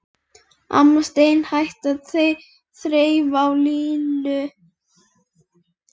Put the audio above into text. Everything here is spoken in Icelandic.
Amma steinhætti að þreifa á Lillu.